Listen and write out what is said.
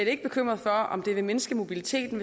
ikke bekymret for om det vil mindske mobiliteten